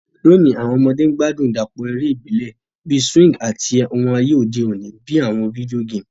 Lóni, àwon ọmọdé n gbádùn ìdàpọ̀ eré ìbílẹ̀ bi swing àti oun ayé òde ni bi àwon video game